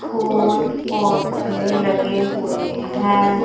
फूल पौधे लगे हुए हैं।